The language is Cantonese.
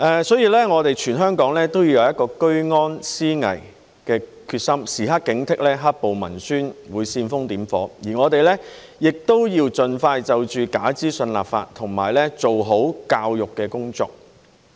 所以，我們全香港都要有一個居安思危的決心，時刻警惕"黑暴"文宣會煽風點火，而我們亦要盡快就假資訊立法及做好教育工作。